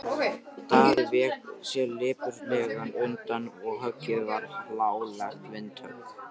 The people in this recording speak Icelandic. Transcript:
Daði vék sér lipurlega undan og höggið varð hlálegt vindhögg.